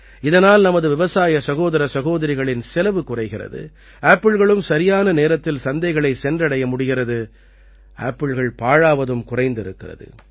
இதனால் நமது விவசாய சகோதர சகோதரிகளின் செலவு குறைகிறது ஆப்பிள்களும் சரியான நேரத்தில் சந்தைகளைச் சென்றடைய முடிகிறது ஆப்பிள்கள் பாழாவதும் குறைந்திருக்கிறது